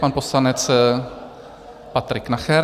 Pan poslanec Patrik Nacher.